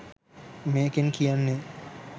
මේකෙන් කියන්නෙ